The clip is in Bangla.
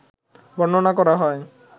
বর্ণনা করা হয়